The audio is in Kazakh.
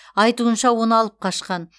айтуынша оны алып қашқан